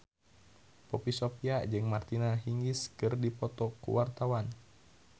Poppy Sovia jeung Martina Hingis keur dipoto ku wartawan